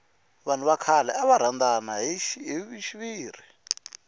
vanhu va khale ava rhandana hi xiviri